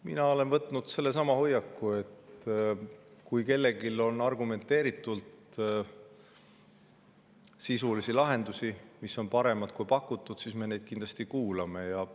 Mina olen võtnud selle hoiaku, et kui kellelgi on argumenteeritud sisulisi lahendusi, mis on paremad kui pakutud, siis me neid kindlasti kuulame.